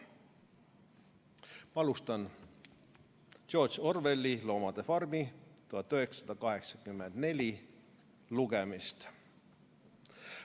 Alustan George Orwelli "Loomade farmi" lugemist.